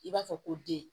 I b'a fɔ ko den